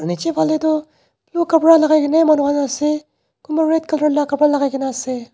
nichae phalae tu blue kapra lakaikaena manu khan ase kunba red colour la kapra lakaikaena ase.